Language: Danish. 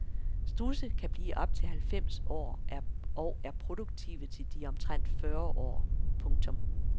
Strudse kan blive op til halvfems år og er produktive til de er omtrent fyrre år. punktum